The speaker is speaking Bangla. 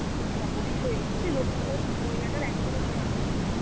অবসই, ওই লো~ আঁ ওই মহিলাটার এখনও charm আছে ভাই.